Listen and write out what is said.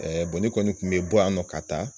bɔ ne kɔni tun bɛ bɔ yan nɔ ka taa.